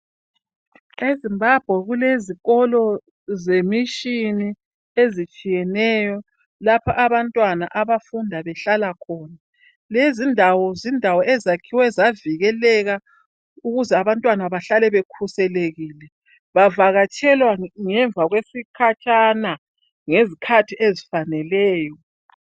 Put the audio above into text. e Zimbabwe kulezikolo ze mission ezitsheyeneyo lapha abantwana abafunda behlala khona lezi indawo zindawo ezakhiwe zavikeleka ukuze abantwana bahlale bekhuselekile bavakatshelwa ngemva kwesikhatshana ngezikhathi ezifaneleyo